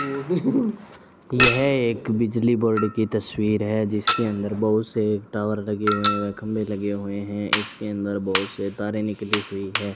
यह एक बिजली बोर्ड की तस्वीर है जिसके अंदर बहुत से टावर लगे हुए हैं व खंभे लगे हुए हैं इसके अंदर बहुत से तारें निकली हुई हैं।